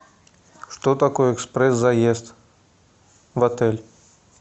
что такое экспресс заезд в отель